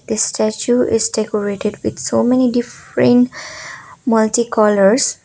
the statue is decorated with so many different multi colours.